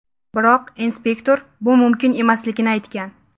Biroq inspektor bu mumkin emasligini aytgan.